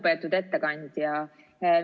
Lugupeetud ettekandja!